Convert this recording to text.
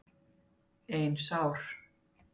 Ein sár.